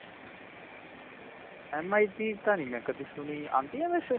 MI ਦੀ ਤਾਂ ਨਹੀਂ ਮੈਂ ਕਦੀ ਸੁਨੀ, ਆਉਂਦੀ ਆ ਵੈਸੇ?